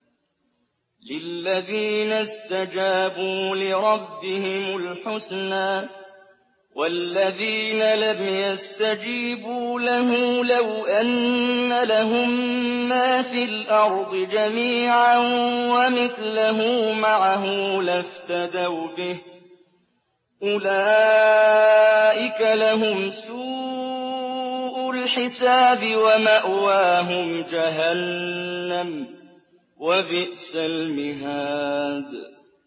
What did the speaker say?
لِلَّذِينَ اسْتَجَابُوا لِرَبِّهِمُ الْحُسْنَىٰ ۚ وَالَّذِينَ لَمْ يَسْتَجِيبُوا لَهُ لَوْ أَنَّ لَهُم مَّا فِي الْأَرْضِ جَمِيعًا وَمِثْلَهُ مَعَهُ لَافْتَدَوْا بِهِ ۚ أُولَٰئِكَ لَهُمْ سُوءُ الْحِسَابِ وَمَأْوَاهُمْ جَهَنَّمُ ۖ وَبِئْسَ الْمِهَادُ